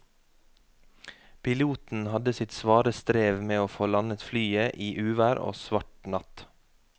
Piloten hadde sitt svare strev med å få landet flyet i uvær og svart natt.